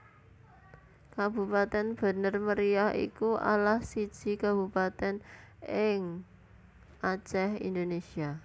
Kabupatèn Bener Meriah iku alah siji kabupatèn ing Acèh Indonésia